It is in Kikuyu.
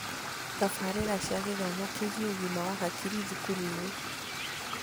Tabarĩra cia gĩthomo kĩgie ũgima wa hakiri thukuru-inĩ